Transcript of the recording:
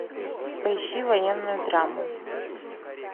поищи военную драму